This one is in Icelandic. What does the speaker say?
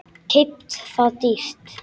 Keypt það dýrt.